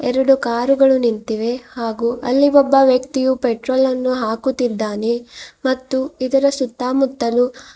ಎರಡು ಕಾರುಗಳು ನಿಂತಿವೆ ಹಾಗಯ ಅಲ್ಲಿ ಒಬ್ಬ ವ್ಯಕ್ತಿಯು ಪೆಟ್ರೋಲನ್ನು ಹಾಕುತಿದ್ದಾನೆ ಮತ್ತು ಇದರ ಸುತ್ತಮುತ್ತಲು--